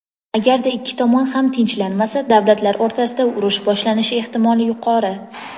agarda ikki tomon ham tinchlanmasa davlatlar o‘rtasida urush boshlanishi ehtimoli yuqori.